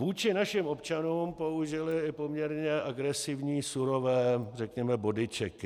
Vůči našim občanům použili i poměrně agresivní surové řekněme bodyčeky.